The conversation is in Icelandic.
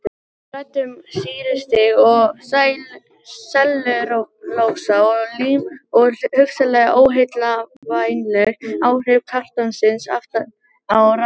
Við ræddum sýrustig og sellulósa og lím og hugsanleg óheillavænleg áhrif kartonsins aftan á rammanum.